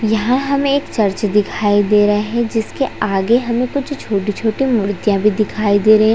यहाँ हमे चर्च एक दिखाई दे रहा है जिसके आगे हमे कुछ छोटे-छोटे मुर्तिया भी दिखाई दे रहे है।